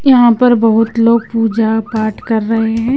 यहां पर बहुत लोग पूजा पाठ कर रहे हैं।